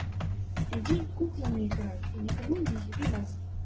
иди куклами играй и никому не еби мозги